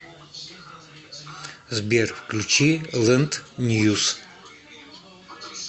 сбер включи лэнд ньюс